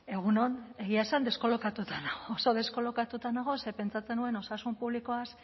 egun on egia esan deskolokatuta oso deskolokatua nago ze pentsatzen nuen osasun publikoaz